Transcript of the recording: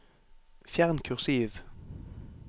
Fjern kursiv